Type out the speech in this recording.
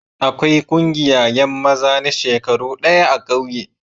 Akwai ƙungiya yan maza na shekaru daya a'kauye.